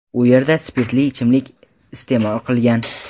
u yerda spirtli ichimlik iste’mol qilgan.